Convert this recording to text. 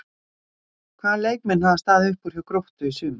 Hvaða leikmenn hafa staðið upp úr hjá Gróttu í sumar?